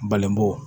Balenbo